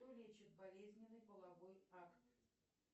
кто лечит болезненный половой акт